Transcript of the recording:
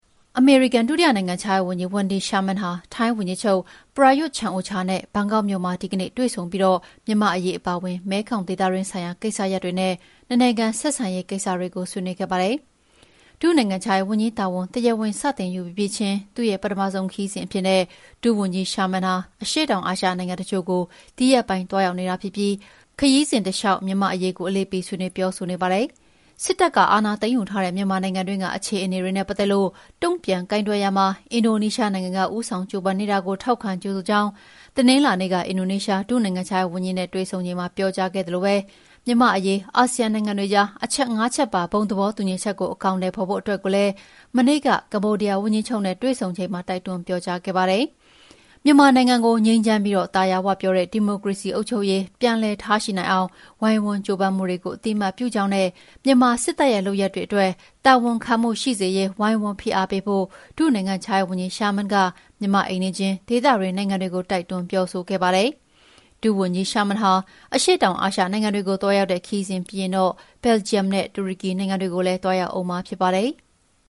အမေရိကန်ဒုတိယနိုင်ငံခြားရေးဝန်ကြီး Wendy Sherman ဟာ ထိုင်းဝန်ကြီးချုပ် Prayuth Chan-ocha နဲ့ ဒီကနေ့ ဘန်ကောက်မြို့တော်မှာ တွေ့ဆုံပြီး မြန်မာ့အရေး အပါအဝင် မဲခေါင် ဒေသတွင်းဆိုင်ရာ ကိစ္စရပ်တွေနဲ့ နှစ်နိုင်ငံ ဆက်ဆံရေးဆိုင်ရာ ကိစ္စရပ်တွေကို ဆွေးနွေးခဲ့ကြပါတယ်။ ဒု နိုင်ငံခြားရေးဝန်ကြီးတာဝန် တရားဝင် စတင်ယူပြီးပြီးချင်း သူ့ရဲ့ ပထမဆုံးခရီးစဉ်အဖြစ် ဒုဝန်ကြီး Sherman အရှေ့တောင်အာရှနိုင်ငံ တချို့ကို ဒီရက်ပိုင်း သွားရောက်နေတာ ဖြစ်ပြီး ခရီးစဉ်တလျှောက် မြန်မာ့အရေးကို အလေးပေး ဆွေးနွေးပြောဆိုနေတာပါ။ စစ်တပ်က အာဏာသိမ်းယူထားတဲ့ မြန်မာနိုင်ငံတွင်းက အခြေအနေတွေနဲ့ ပတ်သက်လို့ တုံ့ပြန်ကိုင်တွယ်ရာမှာ အင်ဒိုနီးရှားနိုင်ငံက ဦးဆောင် ကြိုးပမ်းနေတာကို ထောက်ခံ ကြိုဆိုကြောင်း တနင်္လာနေ့က အင်ဒိုနီးရှား ဒုနိုင်ငံခြားရေးဝန်ကြီးနဲ့ တွေ့ဆုံချိန်မှာ ပြောကြားခဲ့သလို မြန်မာ့အရေး အာဆီယံနိုင်ငံတွေကြား အချက် ၅ ချက်ပါ သဘောတူညီချက်ကို အကောင်အထည် ဖော်ဖို့အတွက်ကိုလည်း မနေ့က ကမ္ဘောဒီးယားဝန်ကြီးချုပ်နဲ့ တွေ့ဆုံစဉ်မှာ တိုက်တွန်းပြောကြားခဲ့ပါတယ်။ မြန်မာနိုင်ငံကို ငြိမ်းချမ်းပြီး သာယာဝပြောတဲ့ ဒီမိုကရေစီ အုပ်ချုပ်ရေး ပြန်လည်ထားရှိနိုင်အောင် ဝိုင်းဝန်းကြိုးပမ်းမှုတွေကို အသိအမှတ်ပြုကြောင်းနဲ့ မြန်မာစစ်တပ်ရဲ့ လုပ်ရပ်တွေအတွက် တာဝန်ခံမှု ရှိစေရေး ဝိုင်းဝန်းဖိအားပေးဖို့ ဒုနိုင်ငံခြားရေးဝန်ကြီး Sherman က မြန်မာ့အိမ်နီးချင်း ဒေသတွင်း နိုင်ငံတွေကို တိုက်တွန်းပြောဆိုခဲ့ပါတယ်။ ဒုဝန်ကြီး Wendy Sherman အရှေ့တောင်အာရှနိုင်ငံတွေကို သွားရောက်တဲ့ ခရီးစဉ်ပြီးရင်တော့ ဘယ်လ်ဂျီယံနဲ့ တူရကီနိုင်ငံတွေကိုလည်း သွားရောက်ဦးမှာဖြစ်ပါတယ်။